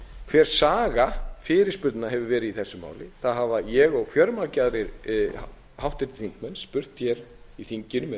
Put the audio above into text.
hver saga fyrirspurna hefur verið í þessu máli það hafa ég og fjölmargir aðrir háttvirtir þingmenn spurt í þinginu með